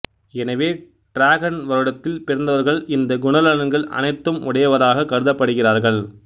எனவே டிராகன் வருடத்தில் பிறந்தவர்கள் இந்த குணநலன்கள் அனைத்து உடையவராக கருதப்படுகிறார்கள்